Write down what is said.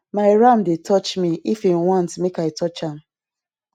my ram dey touch me if em want make i touch am